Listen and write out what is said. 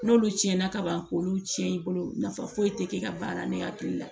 N'olu tiɲɛna ka ban k'olu tiɲɛ i bolo nafa foyi tɛ ka baara ne hakili la